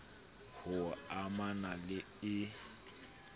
h o amana le e